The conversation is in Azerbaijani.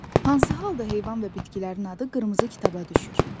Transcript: Hansı halda heyvan və bitkilərin adı qırmızı kitaba düşür?